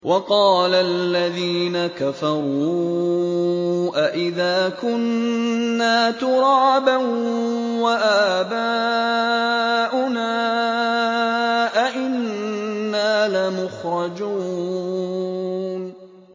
وَقَالَ الَّذِينَ كَفَرُوا أَإِذَا كُنَّا تُرَابًا وَآبَاؤُنَا أَئِنَّا لَمُخْرَجُونَ